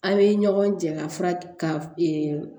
A' ye ɲɔgɔn jɛ ka fura ka